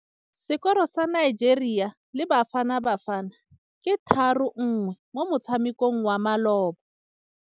Sekôrô sa Nigeria le Bafanabafana ke 3-1 mo motshamekong wa malôba.